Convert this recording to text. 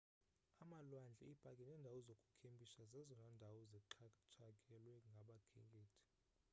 amalwandle iipaki neendawo zokukhempisha zezona ndawo zixhatshakelwa ngabakhenkethi